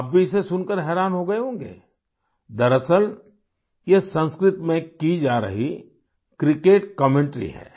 आप भी इसे सुनकर हैरान हो गए होंगे दरअसल यह संस्कृत में की जा रही क्रिकेट कमेंटरी है